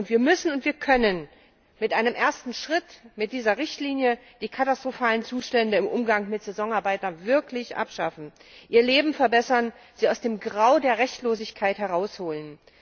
Und wir müssen und wir können mit einem ersten Schritt, mit dieser Richtlinie, die katastrophalen Zustände im Umgang mit Saisonarbeitern wirklich abschaffen, ihr Leben verbessern, sie aus dem Grau der Rechtlosigkeit herausholen.